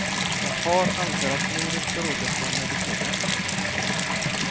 Hans far anser att mordet berodde på medicinen.